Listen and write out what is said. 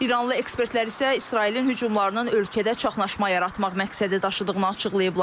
İranlı ekspertlər isə İsrailin hücumlarının ölkədə çaşnaşma yaratmaq məqsədi daşıdığını açıqlayıblar.